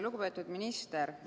Lugupeetud minister!